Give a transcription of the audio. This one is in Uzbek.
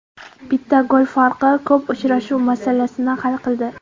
Bitta gol farqi ko‘p uchrashuv masalasini hal qildi.